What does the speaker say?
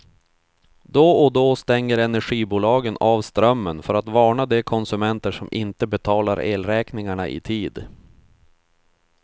Då och då stänger energibolagen av strömmen för att varna de konsumenter som inte betalar elräkningarna i tid.